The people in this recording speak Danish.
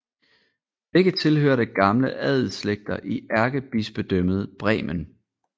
Begge tilhørte gamle adelsslægter i Ærkebispedømmet Bremen